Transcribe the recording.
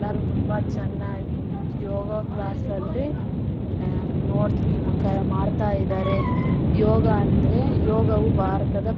ಎಲ್ಲರು ತುಂಬಾ ಚೆನ್ನಾಗಿ ಯೋಗ ಕ್ಲಾಸಲ್ಲಿ ಹ್ಮ್ ನೋಡ್ ಮಾಡ್ತಾ ಇದ್ದಾರೆ ಯೋಗ ಅಂದ್ರೆ ಯೋಗವು ಭಾರತದ --